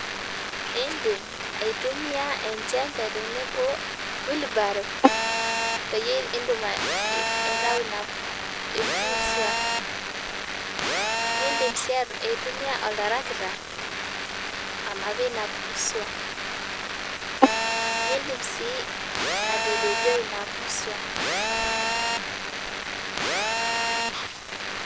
Iindim aitumia enchembe tenebo o ]wheelbarrow peyie iindim aitayu empusua niidim sii aitumia oltarakita anapie ina puusua niidim sii atapejoi ina pusua.